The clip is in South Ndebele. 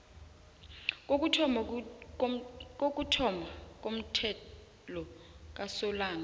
kokuthoma komthelo kasolanga